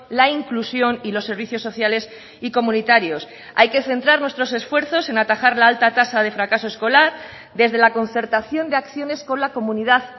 la inclusión y los servicios sociales y comunitarios hay que centrar nuestros esfuerzos en atajar la alta tasa de fracaso escolar desde la concertación de acciones con la comunidad